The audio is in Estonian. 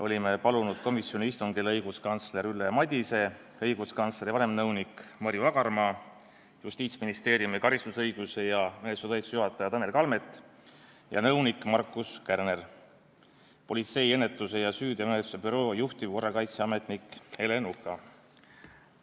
Olime palunud komisjoni istungile õiguskantsler Ülle Madise, õiguskantsleri vanemnõuniku Marju Agarmaa, Justiitsministeeriumi karistusõiguse ja menetluse talituse juhataja Tanel Kalmeti ja nõunik Markus Kärneri ning politsei ennetuse ja süüteomenetluse büroo juhtivkorrakaitseametniku Ele Nuka.